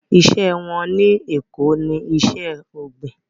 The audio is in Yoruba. Iṣẹ́ wọn ní Èko ní iṣẹ́ ọ̀gbìn